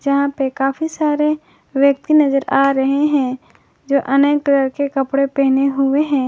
यहां पे काफी सारे व्यक्ति नजर आ रहे हैं जो अनेक कलर के कपड़े पहने हुए हैं।